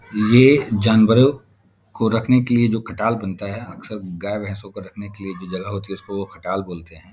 ये जानवरों को रखने के लिए जो खटाल बनता है अक्सर गाय-भैसों को रखने के लिए जो जगह होती है उसको खटाल बोलते हैं।